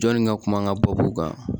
Jɔnni ka kuma n ka babu kan